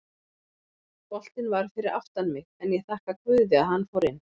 Boltinn var fyrir aftan mig en ég þakka guði að hann fór inn.